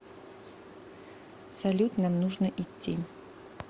салют нам нужно идти